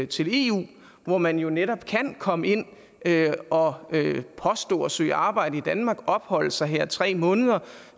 til eu hvor man jo netop kan komme ind og påstå at søge arbejde i danmark opholde sig her tre måneder